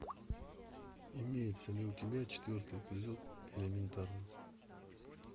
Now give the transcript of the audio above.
имеется ли у тебя четвертый эпизод элементарно